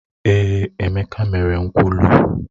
Èé, Emeka mere nkwulu.